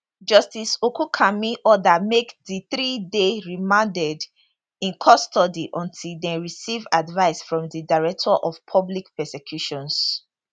justice ogunkanmi order make di three dey remanded in custody until dem receive advice from di director of public prosecutions